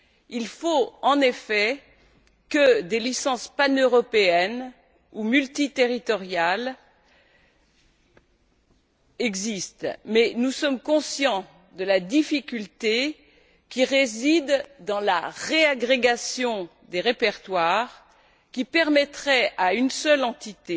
Il faut en effet que des licences paneuropéennes ou multiterritoriales existent. Mais nous sommes conscients de la difficulté qui réside dans la réagrégation des répertoires qui permettrait à une seule entité